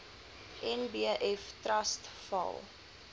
nbf trust val